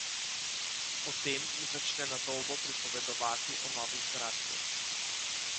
Potem mi začne na dolgo pripovedovati o novi zgradbi.